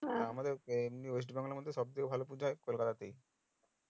আমাদের West Bengal আর মধ্যে সব থেকে ভালো ওয়াজ হয় কলকাতাতেই